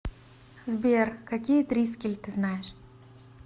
сбер какие трискель ты знаешь